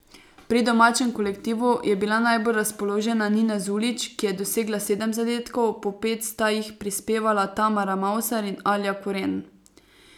Pri domačem kolektivu je bila najbolj razpoložena Nina Zulič, ki je dosegla sedem zadetkov, po pet sta jih prispevala Tamara Mavsar in Alja Koren.